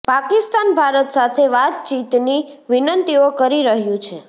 પાકિસ્તાન ભારત સાથે વાતચીતની વિનંતીઓ કરી રહ્યું છે